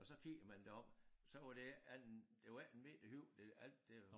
Og så kigger man derop så var det ikke en det var ikke 1 meter højt det alt det var